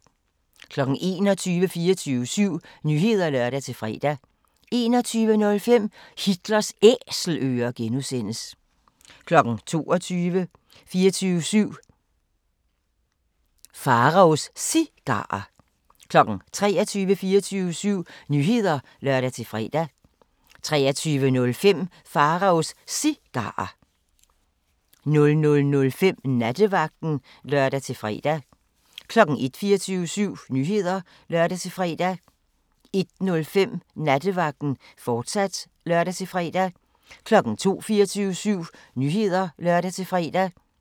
21:00: 24syv Nyheder (lør-fre) 21:05: Hitlers Æselører (G) 22:00: 24syv Nyheder (lør-fre) 22:05: Pharaos Cigarer 23:00: 24syv Nyheder (lør-fre) 23:05: Pharaos Cigarer 00:05: Nattevagten (lør-fre) 01:00: 24syv Nyheder (lør-fre) 01:05: Nattevagten, fortsat (lør-fre) 02:00: 24syv Nyheder (lør-fre)